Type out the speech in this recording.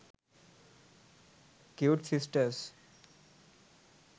cute sisters